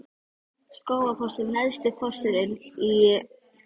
Skógafoss er neðsti fossinn í Skógaá.